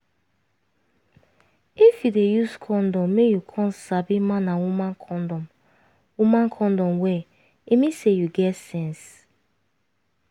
if you dey use condom make you come sabi man and woman condom woman condom well e mean say you get sense